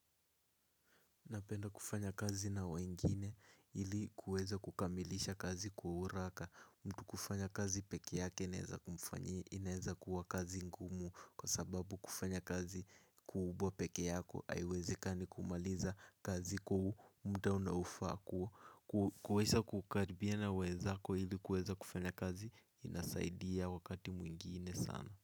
Napenda kufanya kazi na wengine ili kuweza kukamilisha kazi kwa uraka. Mtu kufanya kazi pekeyake inaeza kuwa kazi ngumu. Kwa sababu kufanya kazi kubwa peke yako haiwezekani kumaliza kazi kuu muda unaofaa ku kuweza kukaribia na wenzako ili kuweza kufanya kazi. Inasaidia wakati mwingine sana.